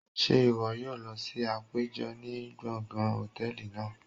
Ṣe iwọ yoo lọ si apejọ ni gbongan hòtẹ́ẹ̀lì naa?